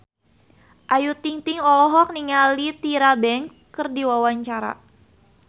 Ayu Ting-ting olohok ningali Tyra Banks keur diwawancara